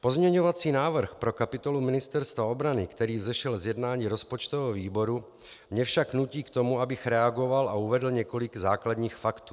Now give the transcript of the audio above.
Pozměňovací návrh pro kapitolu Ministerstva obrany, který vzešel z jednání rozpočtového výboru, mě však nutí k tomu, abych reagoval a uvedl několik základních faktů.